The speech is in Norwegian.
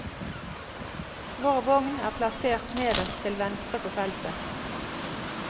Vår vogn er plassert nederst til venstre på feltet.